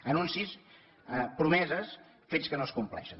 anuncis promeses fets que no es compleixen